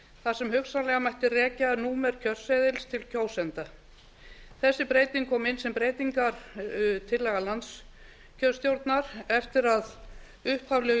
þar sem hugsanlega mætti rekja númer kjörseðils til kjósenda þessi breyting kom inn sem breytingartillaga landskjörstjórnar eftir að upphaflegu